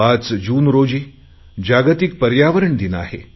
5 जून रोजी जागतिक पर्यावरण दिन आहे